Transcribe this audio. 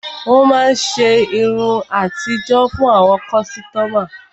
Ó máa ṣe irun àtijó fún àwọn kọ́sítọ́mà.